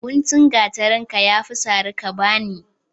Guntun gatarinka yafi sari ka bani